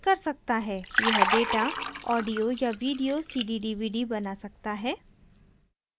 यह data audio या video cd/dvd बना सकता है